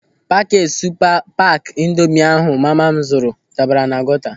Pakeeti supa paaki ịndomị ahụ mama m zuru dabara na gọta.